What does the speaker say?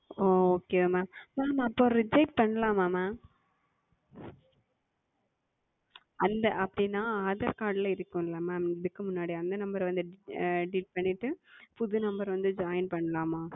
ஓ Okay mam mam அப்பொழுது Reject செய்யலாமா Mam அந்த அப்படி என்றால் Aadhar Card இருக்கும் அல்லவா Mam இதற்கு முன்னாடி அந்த Number வந்து Delete செய்து விட்டு புது Number வந்து Joint செய்யலாமா